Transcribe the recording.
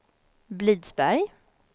Blidsberg